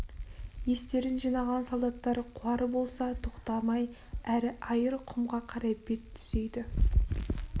естерін жинаған солдаттар қуар болса тоқтамай әрі айыр құмға қарай бет түзейді